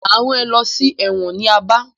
Máa rán ẹ lọ sí ẹ̀wọ̀n ní Aba.